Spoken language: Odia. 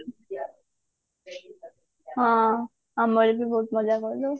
ହଁ ଆମେ ବି ବହୁତ ମଜା କରୁ